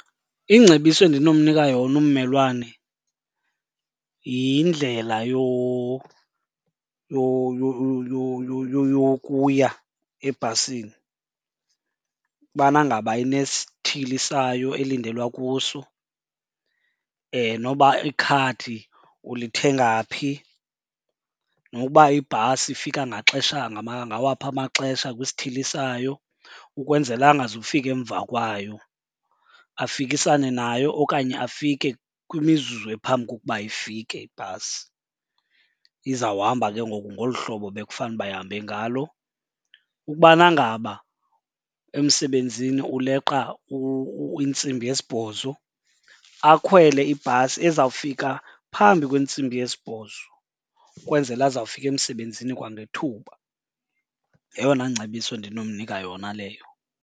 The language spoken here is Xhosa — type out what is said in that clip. Ingcebiso endinomnika yona ummelwane yindlela yokuya ebhasini ubana ngaba inesithili sayo elindelwa kuso, noba ikhadi ulithenga phi, noba ibhasi ifika ngaxesha ngawaphi amaxesha kwisithili sayo. Ukwenzela angazufika emva kwayo, afikisane nayo okanye afike kwimizuzu ephambi kokuba ifike ibhasi. Izawuhamba ke ngoku ngolu hlobo bekufanuba ihambe ngalo. Ukubana ngaba emsebenzini uleqa intsimbi yesibhozo, akhwele ibhasi ezawufika phambi kwentsimbi yesibhozo ukwenzela azawufika emsebenzini kwangethuba. Yeyona ngcebiso endinomnika yona leyo.